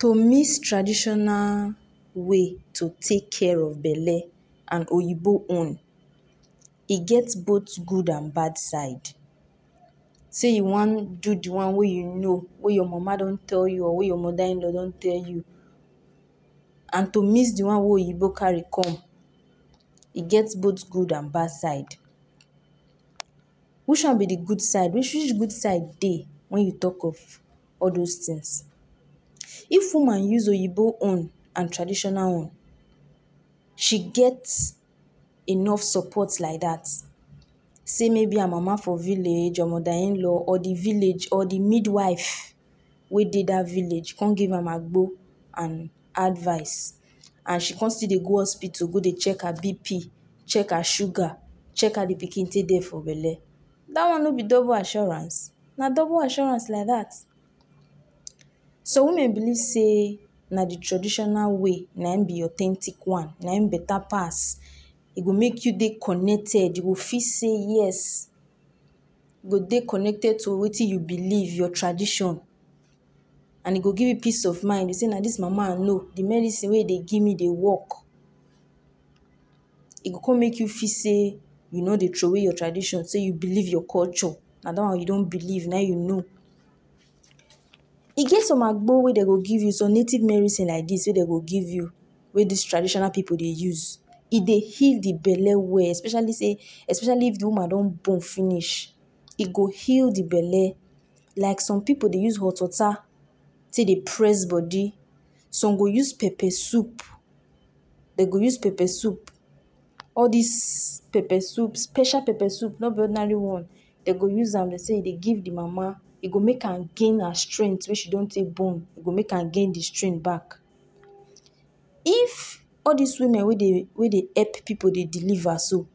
To mix traditional way to take kia of belle and oyibo own, e get both good and bad side, sey you wan do di one wey you you know wey your mama don tell you or wey your mother in law don tell you. And to mix di one we oyibo carry com. E get both good and bad side. Which one be de good side? Which good side dey, wen you tok of all dos things. If woman use oyibo own and traditional own she get enof support like dat sey may be her mama for village or mother in-law or di village or di midwife wey de village come give am agbo and advice and she come still de go hospital go check her bp, check her sugar, check how di pikin take dey for belle, dat one no be double assurance? Na double assurance like dat. Some women believe sey na di traditional way na im be authentic one na him betta pass. E go mek you de connected, you go feel sey yes, go de connected to wetin you believe, your tradition and e go give you peace of mind be say na dis mama I know di medisin we you de give me work. E go come make you feel sey you no dey trow wey your tradition sey you believe your culture and that one you don believe na you know. E get some agbo wey dey go give you some native medisin like dis wey de go give you, wey dis traditional pipu dey use. E de heal di belle well, especially sey especially if di woman don born finish, e go heal de belle. Like some pipu dey use hot waters tek dey press d body some dey use pepper soup de go use pepper soup, all dis pepper soup, special pepper soup no be ordinary one, de go use am sey de give di mama, e go mek her gain her strength wey she don tek born it go mek gain di strength back. If all dis women wey dey pipu deliver so,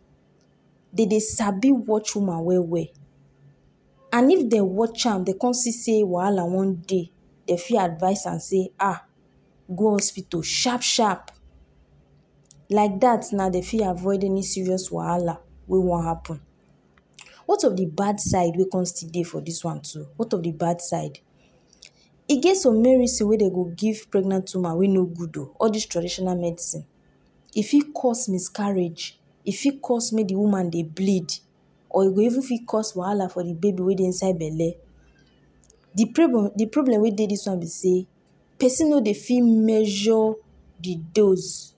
de dey sabi watch woman well-well. And if de watch am dey come see sey wahala wan dey de fit advice am sey um, go hospital shap-shap like dat na dey fit avoiding serious wahala wey wan happen. What of di bad side wey come see de for dis one too, what of di bad side? E get some medisin wey dey go give pregnant woman wey no good o, all dis traditional medisin e fit cos miscarriage, e fit cos may d woman de bleed or e go even fit cos wahala for di baby wey de inside belle. Di problem, di problem wey de dis one be sey, pesin no de fit measure di dose,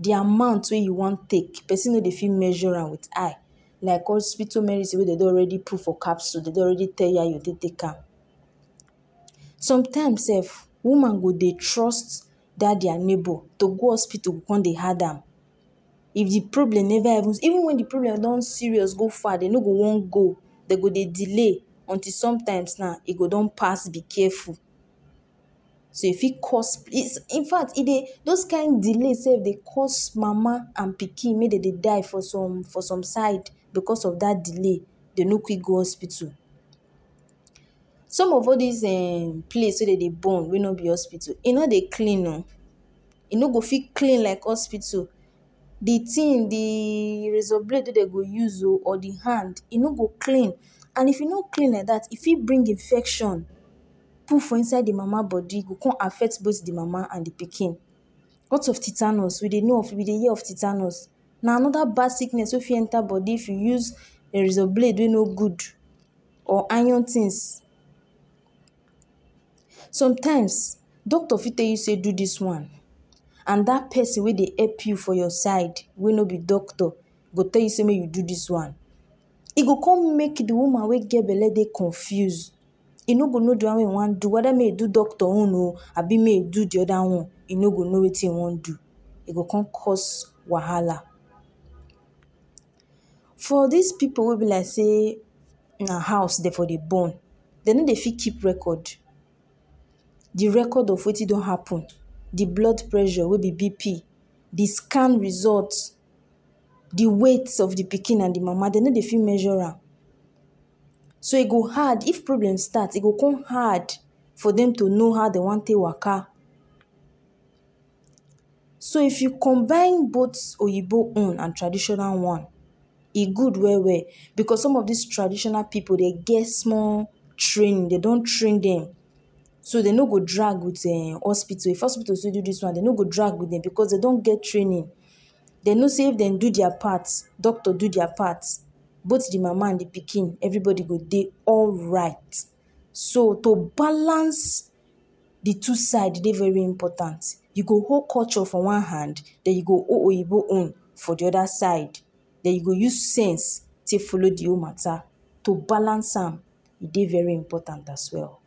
di amount wey you wan take, pesin no de fit measure am wit eye like hospital medisin wey dey already put for capsol dey don already tell you how you fit take am. Sometimes sef woman go de trust dat dia nebor, to go hospital go con dey hard am. If di problem never able even if di problem don serious go far de no go wan go, dey go de no go wan go dey go delay until sometimes haa, e go don pass be careful nah. So if fit cos we infact e de dos kind delay de cos mama and pikin make dem dey die for some for some side becos of dat delay de no quick go hospital. Some of all dis um place were de go born wey no be hospital e no dey clean oo e no go fit clean like hospital. Di tin di razor blade wey de go go use or di hand e no go clean and if e no clean like dat fit bring infection put for inside di mama bodi e go com affect both di mama and di pikin. What of titanus, we de know we de of titanus na another bad sickness we fit enter bodi if you use razor blade we de no good or iron tins. Sometimes doctor fit tell you sey dis one, and dat pesin wey hep you for your side wey no be doctor go tell you se may you do dis one. E go come mek di woman we get belle de confused, e no go know di one one do weda may you do doctor own abi may ee do di oda one e no go know wetin you wan do. ee go com cos wahala. For dis pipu wey be like sey na hous dey for dey born de no de fit keep record, di record of wetin don happen, di blood pressure, di BP, di scan result, di weight, of di pikin and di mama de no dey fit measure am. So e go hard if problems start, e go come hard for dem to know how to waka. So if you combine both oyibo own and traditional one, e good well well becos some of dis traditional pipu dey gets small training dey don train dem so de no go drag with um hospital if hospital sey do dis one dey no go drag with dem becos dey don get training, dey no sey dem dey do diya part, dokto do diya part both di mama and di pikin everybody go dey alright, so to balance di two side de dey important, you go hold culture for one hand den you go hold oyibo own for di oda side, den you go use sense take follow de wole matter sey to balance am de very important as well.